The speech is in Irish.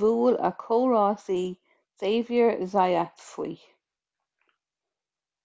bhuail a chomh-rásaí xavier zayat faoi